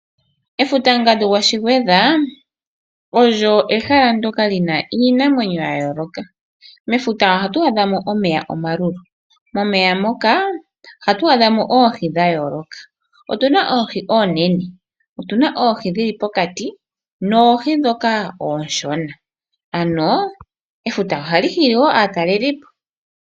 Efuta ngadu gwaShigwedha oyo ehala ndyoka lina iinamwenyo ya yooloka. Ohatù adhamo omeya omalulu moka muna oohi dhomaludhi. Otuna oohi oonene, dhopokati, ooshona. Efuta ohali hili wo aatalelipo.